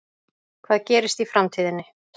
Hvað gerist í framtíðinni?